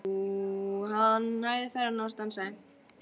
Jú, hann hægði ferðina og stansaði.